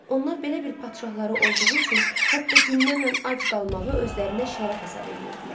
Onlar belə bir padşahları olduğu üçün hətta günlərlə ac qalmağı özlərinə şərəf hesab eləyirdilər.